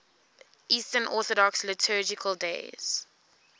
eastern orthodox liturgical days